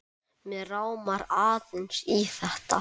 Mig rámar aðeins í þetta.